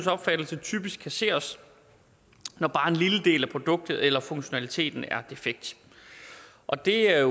opfattelse typisk kasseres når bare en lille del af produktet eller funktionaliteten er defekt og det er